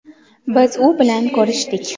Biz u bilan ko‘rishdik.